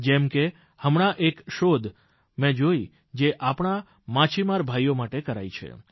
જેમ કે હમણાં એક શોધ મેં જોઇ જે આપણા માછીમાર ભાઇઓ માટે કરાઇ છે